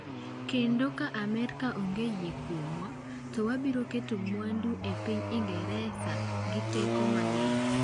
Kendo ka Amerka onge yie kuomwa, to wabiro keto mwandu e piny Ingresa gi teko mang’eny.”